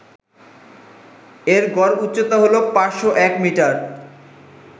এর গড় উচ্চতা হল ৫০১মিটার